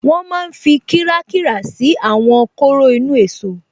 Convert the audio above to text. Wọ́n máa n fi kírákírà ṣí àwọn kóró inú-èsó